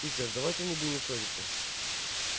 питер давайте не будем ссориться